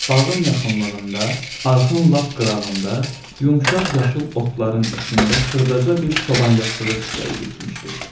Bağın yaxınlığında, arxın lap qırağında, yumşaq yaşıl otların içində xırdaca bir çoban yastığı çiçəyi bitmişdi.